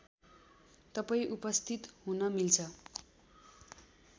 तपाईँ उपस्थित हुन मिल्छ